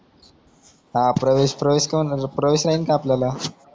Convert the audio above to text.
हा प्रवेश प्रवेश कोण प्रवेश हायीन का आपल्याला